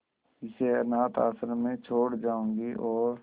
इसे अनाथ आश्रम में छोड़ जाऊंगी और